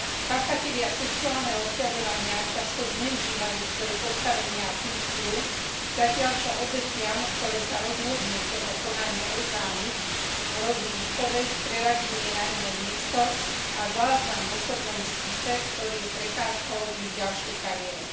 Páchatelia sexuálneho obťažovania často zneužívajú svoje postavenie a funkciu, zatiaľ čo obetiam, ktoré sa rozhodnú toto konanie oznámiť, hrozí výpoveď, preradenie na iné miesto a záznam v osobnom spise, ktorý je prekážkou v ich ďalšej kariére.